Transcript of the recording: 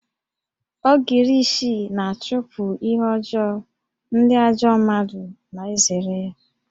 Ogirishi na-achụpụ ihe ọjọọ, ndị ajọ mmadụ na-ezere ya